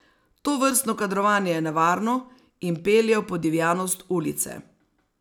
Tovrstno kadrovanje je nevarno in pelje v podivjanost ulice.